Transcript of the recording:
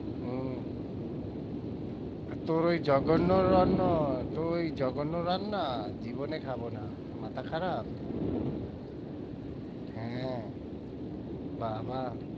উম তা তোর ওই জঘন্য রান্না? তোর ওই জঘন্য রান্না জীবনে খাবো না মাথা খারাপ হ্যাঁ বাবা